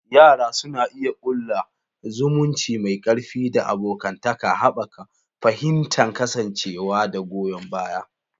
Yara suna iya ƙulla zumunci mai ƙarfi da abokantaka, haɓaka fahimtar kasancewa da goyon baya.